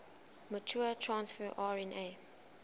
mature transfer rna